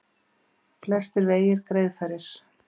Flestir vegir greiðfærir